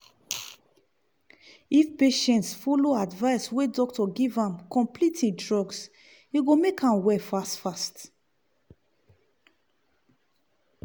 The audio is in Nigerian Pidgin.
if patients follow advise we doctor give am complete im drugs e go make am well fast fast.